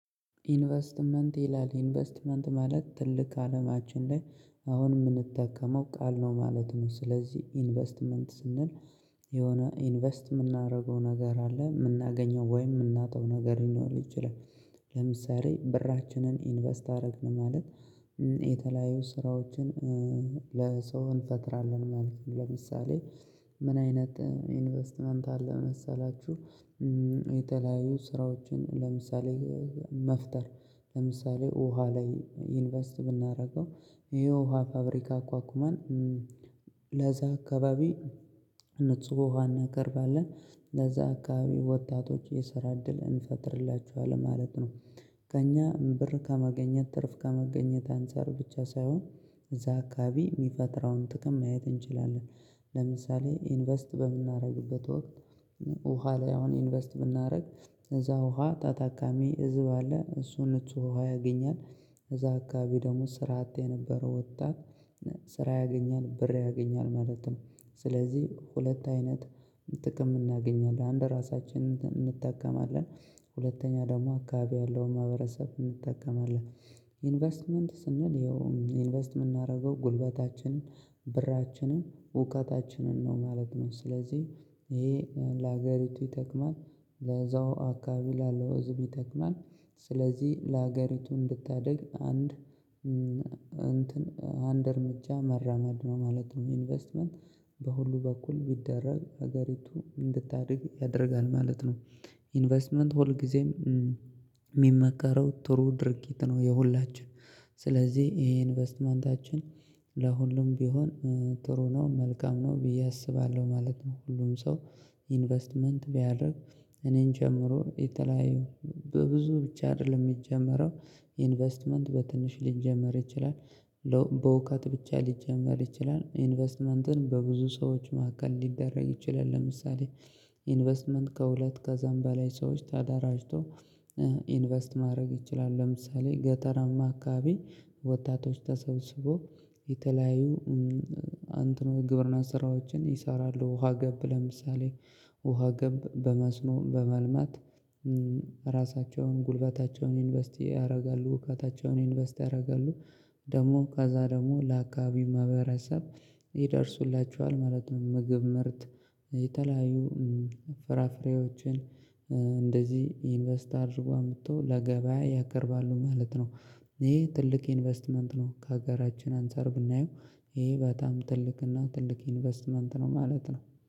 ኢንቨስትመንት ይላል ኢንቨስትመንት ማለት ትልቅ አለማችን ላይ አሁን የምንጠቀመው ቃል ነው ማለት ነው ስለዚህ ኢንቨስትመንት ስንል የሆነ ኢንቨስት የምናደርገው ነገር አለ የምናገኘው ወይም የምናጣው ነገር ሊኖር ይችላል ለምሳሌ ብራችንን ኢንቨስት አደረግን ማለት የተለያዩ ስራዎችን ለሰው እንፈጥራለን ማለት ነው ለምሳሌ ምን አይነት ኢንቨስትመንት አለ መሰላችሁ፣ የተለያዩ ስራዎችን ለምሳሌ መፍጠር ለምሳሌ ውሃ ላይ ኢንቨስት ብናደርገው ይሄ ውሃ ፋብሪካ አቋቁማን ለዛ አካባቢ ንጹህ ውሃ እናቀርባለን፣ ለዛ አካባቢ ወጣቶች የሰራ እድል እንፈጥርላቸዋለን ማለት ነው። ከእኛ ብር ከማግኘት ትርፍ ከማግኘት አንፃር ብቻ ሳይሆን እዛ አካባቢ የሚፈጥረውን ጥቅም ማየት እንችላለን። ለምሳሌ ኢንቨስት በምናደርግበት ወቅት ውሃ ላይ አሁን ኢንቨስት ብናደርግ እዛ ውሃ ተጠቃሚ ህዝብ አለ እሱ ንጹህ ውሃ ያገኛል እዛ አካባቢ ደግሞ ስራ አጥ የነበረው ወጣት ስራ ያገኛል ብር ያገኛል ማለት ነው፣ ስለዚህ ሁለት አይነት ጥቅም እናገኛለን አንድ ራሳችን እንጠቀማለን ሁለተኛ ደግሞ አካባቢ ያለውን ማህበረሰብ እንጠቅማለን። ኢንቨስትመንት ስንል ያው ኢንቨስትመንት የምናደርገው ጉልበታችንን፣ ብራችንን፣ እውቀታችንን ነው ማለት ነው ስለዚህ ይሄ ለሀገሪቱ ይጠቅማል፣ ለዛው አካባቢ ላለው ህዝብም ይጠቅማል፣ ስለዚህ ለሀገሪቱ እንድታድግ አንድ እንትን አንድ እርምጃ መራመድ ነው ማለት ነው። ኢንቨስትመንት በሁሉ በኩል ቢደረግ ሀገሪቱ እንድታድግ ያደርጋል ማለት ነው። ኢንቨስትመንት ሁልጊዜም የሚመከረው ጥሩ ድርጊት ነው የሁላችን ስለዚህ ይሄ ኢንቨስትመንታችን ለሁሉም ቢሆን ጥሩ ነው መልካም ነው ብዬ አስባለሁ ማለት ነው። ሁሉም ሰው ኢንቨስትመንት ቢያደርግ እኔን ጨምሮ የተለያዩ በብዙ ብቻ አይደለም የሚጀምረው ኢንቨስትመንት በትንሽ ሊጀመር ይችላል፣ ለው በእውቀት ብቻ ሊጀመር ይችላል፣ ኢንቨስትመንትን በብዙ ሰዎች መካከል ሊደረግ ይችላል ለምሳሌ ኢንቨስትመንት ከሁለት ከዛም በላይ ሰዎች ተደራጅተው ኢንቨስት ማድረግ ይላሉ፣ ለምሳሌ ገጠራማ አካባቢ ወጣቶች ተሰብስበው የተለያዩ እንተን ወይ ግብርና ስራዎችን ይሰራሉ፣ ውሃ ገብ ለምሳሌ ውሃ ገብ በመስኖ በማልማት ራሳቸውን፣ ጉልበታቸውን ኢንቨስት ያደርጋሉ፤ እውቀታቸውን ኢንቨስት ያደርጋሉ፣ ደግሞ ከዛ ደግሞ ለአካባቢው ማህበረሰብ ይደርሱላቸዋል ማለት ነው። ምግብ ምርት የተለያዩ ፍራፍሬዎችን እንደዚህ ኢንቨስት አድርገው አምጥተው ለገበያ ያቀርባሉ ማለት ነው። ይሄ ትልቅ ኢንቨስትመንት ነው ከሀገራችን አንፃር ብናየው ይሄ በጣም ትልቅና ትልቅ ኢንቨስትመንት ነው ማለት ነው።